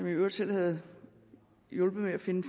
i øvrigt selv havde hjulpet med at finde